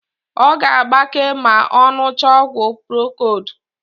Ọ ga-agbake ma ọ ṅụchaa ọgwụ prokodu.